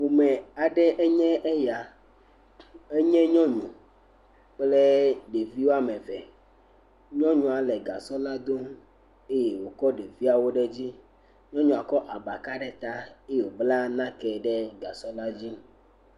Ƒome aɖe enye ya. Enye nyɔnu kple ɖevi wɔme ve. Nyɔnua le gasɔ la dom eye wokɔ ɖeviawo ɖe dzi. Nyɔnua kɔ abaka ɖe ta eye wobla nake ɖe gasɔ la dzi.